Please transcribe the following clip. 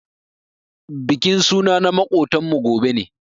Bikin suna na makotan mu gobe ne.